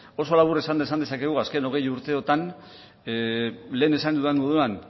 oso labur esan dezakegu azken hogei urteotan lehen esan dudan moduan